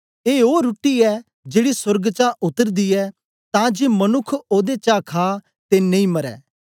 ए ओ रुट्टी ऐ जेड़ी सोर्ग चा उत्तरदी ऐ तां जे मनुक्ख ओदे चा खा ते नेई मरे